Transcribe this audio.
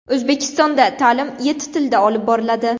O‘zbekistonda ta’lim yetti tilda olib boriladi.